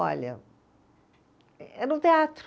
Olha, eh era um teatro.